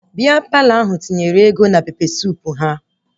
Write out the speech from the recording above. Bịa Palọ ahụ tinyere ego na pepe suup ha